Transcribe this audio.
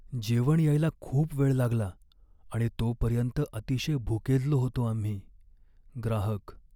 जेवण यायला खूप वेळ लागला आणि तोपर्यंत अतिशय भुकेजलो होतो आम्ही. ग्राहक